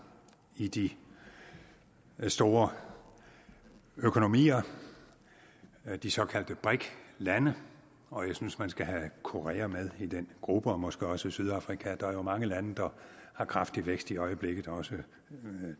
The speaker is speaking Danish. i de store økonomier de såkaldte brik lande og jeg synes man skal have korea med i den gruppe og måske også sydafrika der er jo mange lande der har kraftig vækst i øjeblikket også